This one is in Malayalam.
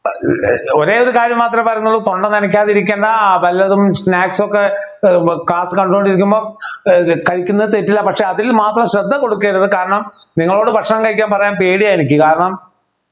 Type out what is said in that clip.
ഒരേയൊരു കാര്യം മാത്രെ പറയുന്നുള്ളൂ തൊണ്ട നനയ്ക്കാതിരിക്കുന്ന വല്ലതും snacks ഒക്കെ class കണ്ടുകൊണ്ടിരിക്കുമ്പോൾ ഏർ കഴിക്കുന്ന തെറ്റില്ല പക്ഷേ അതിൽ മാത്രം ശ്രദ്ധ കൊടുക്കരുത് കാരണം നിങ്ങളോട് ഭക്ഷണം കഴിക്കാൻ പറയാൻ പേടിയാ എനിക്ക് കാരണം